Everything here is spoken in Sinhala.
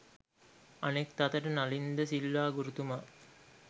අනෙක් අතට නලින් ද සිල්වා ගුරුතුමා